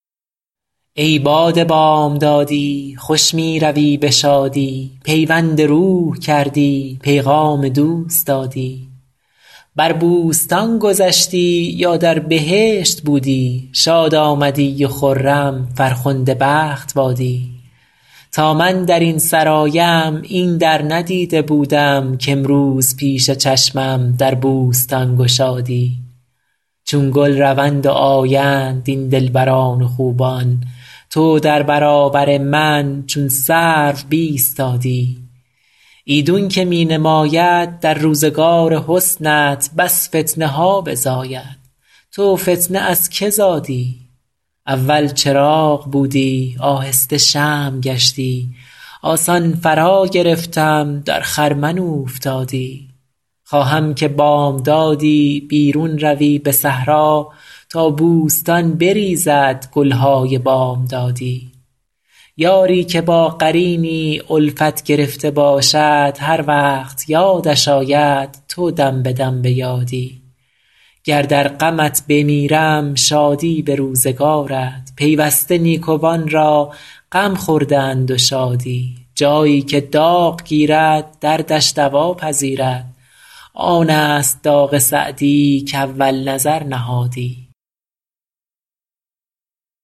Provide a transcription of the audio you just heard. ای باد بامدادی خوش می روی به شادی پیوند روح کردی پیغام دوست دادی بر بوستان گذشتی یا در بهشت بودی شاد آمدی و خرم فرخنده بخت بادی تا من در این سرایم این در ندیده بودم کامروز پیش چشمم در بوستان گشادی چون گل روند و آیند این دلبران و خوبان تو در برابر من چون سرو بایستادی ایدون که می نماید در روزگار حسنت بس فتنه ها بزاید تو فتنه از که زادی اول چراغ بودی آهسته شمع گشتی آسان فراگرفتم در خرمن اوفتادی خواهم که بامدادی بیرون روی به صحرا تا بوستان بریزد گل های بامدادی یاری که با قرینی الفت گرفته باشد هر وقت یادش آید تو دم به دم به یادی گر در غمت بمیرم شادی به روزگارت پیوسته نیکوان را غم خورده اند و شادی جایی که داغ گیرد دردش دوا پذیرد آن است داغ سعدی کاول نظر نهادی